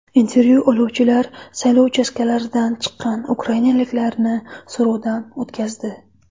Intervyu oluvchilar saylov uchastkalaridan chiqqan ukrainaliklarni so‘rovdan o‘tkazdi.